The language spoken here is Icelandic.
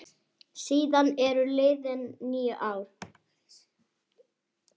Síðan eru liðin níu ár.